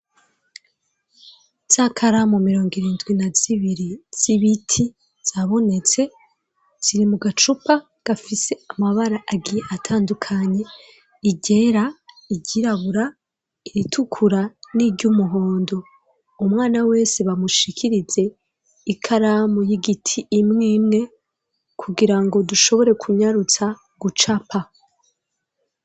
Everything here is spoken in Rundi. Za karamu mirong’irindwi na zibiri z'ibiti zabonetse ziri mu gacupa gafise amabara agiye atandukanye ,i ryera ,i ryirabura ,iritukura n'iry'umuhondo umwana wese bamushikirize ikaramu y'igiti imw’ imwe kugira ngo dushobore kunyarutsa gucapa.